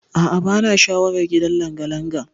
A'a bana sha'awar gidan langalanga.